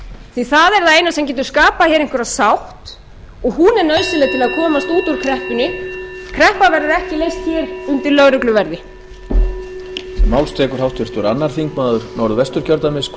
því það er það eina sem getur skapað einhverja sátt og hún er nauðsynleg til að komast út úr kreppunni kreppan verður ekki leyst undir lögregluverði